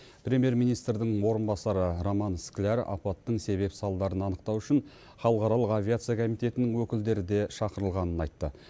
премьер министрдің орынбасары роман скляр апаттың себеп салдарын анықтау үшін халықаралық авиация комитетінің өкілдері де шақырылғанын айтты